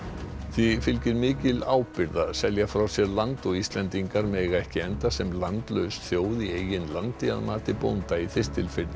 því fylgir mikil ábyrgð að selja frá sér land og Íslendingar mega ekki enda sem landlaus þjóð í eigin landi að mati bónda í Þistilfirði